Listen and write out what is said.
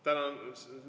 Tänan!